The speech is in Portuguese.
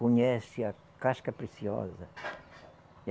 Conhece a casca preciosa?